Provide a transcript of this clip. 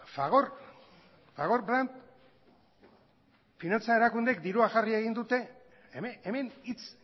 fagor fagor brandt finantza erakundeek dirua jarri egin dute hemen hitz